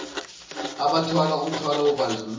abathwala umthwalo wobandlululo